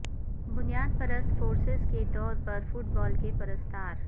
بنیاد پرست فورسز کے طور پر فٹ بال کے پرستار